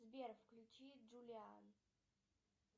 сбер включи джулиан